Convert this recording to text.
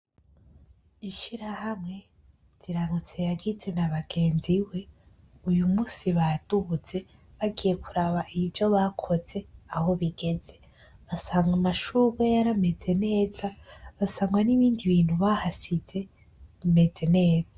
Ishirahamwe Ziranotse yagize na bagenziwe uyu munsi baduze bagiye kuraba ivyo bakoze aho bigeze. Basanga amashurwe yarameze neza. Basanga n'ibindi bintu bahasize bimeze neza.